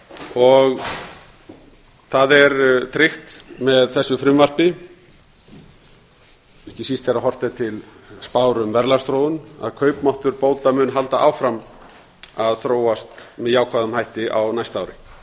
og það er tryggt með þessu frumvarpi ekki síst þegar horft er til spár um verðlagsþróun að kaupmáttur bóta mun halda áfram að þróast með jákvæðum hætti á næsta ári